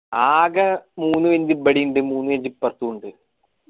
ആകെ മൂന്ന് bench ഇബിടെ ഇണ്ട് മൂന്ന് bench ഇപ്പറത്തുണ്ട്